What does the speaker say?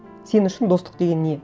сен үшін достық деген не